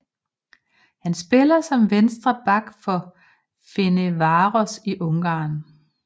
Han spiller som venstre back for Ferencváros i Ungarn